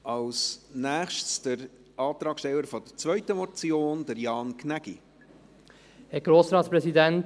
Als Nächstes der Antragsteller der zweiten Motion , Jan Gnägi.